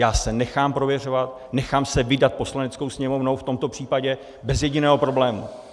Já se nechám prověřovat, nechám se vydat Poslaneckou sněmovnou v tomto případě bez jediného problému.